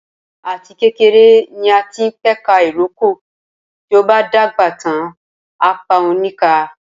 Ati kekere ni a tin peka iroko, ti o ba dagba tan apa o ni ka.